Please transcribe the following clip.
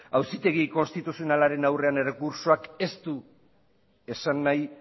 auzitegi konstituzionalaren aurrean errekurtsoak ez du esan nahi